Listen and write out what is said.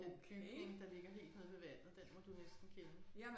Den bygning der ligger helt nede ved vandet den må du næsten kende